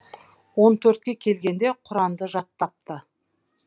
он төртке келгенде құранды жаттапты